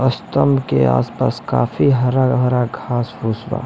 कसतेल के आस पास काफी हारा भरा घास बा--